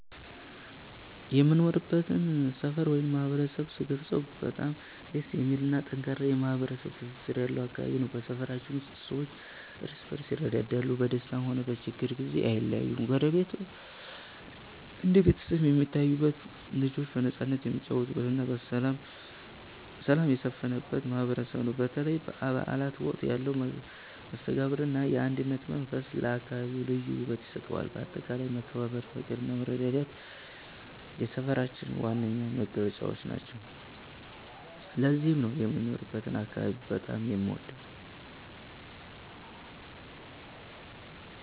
የምኖርበትን ሰፈር ወይም ማህበረሰብ ስገልጸው በጣም ደስ የሚልና ጠንካራ ማህበራዊ ትስስር ያለው አካባቢ ነው። በሰፈራችን ውስጥ ሰዎች እርስ በርስ ይረዳዳሉ፤ በደስታም ሆነ በችግር ጊዜ አይለያዩም። ጎረቤት እንደ ቤተሰብ የሚታይበት፣ ልጆች በነፃነት የሚጫወቱበትና ሰላም የሰፈነበት ማህበረሰብ ነው። በተለይ በበዓላት ወቅት ያለው መስተጋብርና የአንድነት መንፈስ ለአካባቢው ልዩ ውበት ይሰጠዋል። በአጠቃላይ መከባበር፣ ፍቅርና መረዳዳት የሰፈራችን ዋና መገለጫዎች ናቸው። ለዚህም ነው የምኖርበትን አካባቢ በጣም የምወደው።